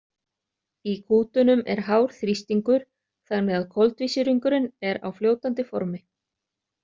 Í kútunum er hár þrýstingur þannig að koltvísýringurinn er á fljótandi formi.